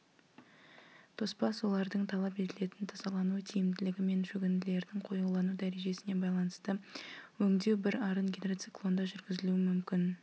тоспа сулардың талап етілетін тазалану тиімділігі мен шөгінділердің қоюлану дәрежесіне байланысты өңдеу бір арын гидроциклонда жүргізілуі мүмкін